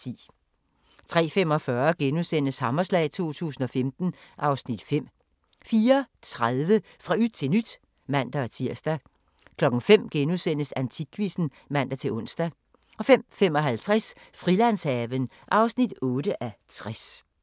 03:45: Hammerslag 2015 (Afs. 5)* 04:30: Fra yt til nyt (man-tir) 05:00: Antikquizzen *(man-ons) 05:55: Frilandshaven (8:60)